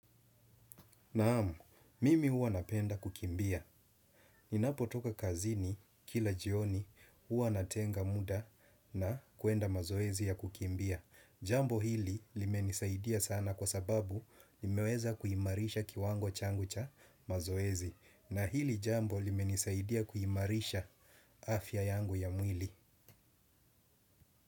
Naam, mimi huwa napenda kukimbia. Ninapotoka kazini kila jioni huwa natenga muda na kuenda mazoezi ya kukimbia. Jambo hili limenisaidia sana kwa sababu nimeweza kuimarisha kiwango changu cha mazoezi. Na hili jambo limenisaidia kuhimarisha afya yangu ya mwili.